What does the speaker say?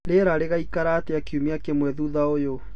rĩera rĩgaĩkara atĩa kĩũma kĩmwe thũtha ũyũ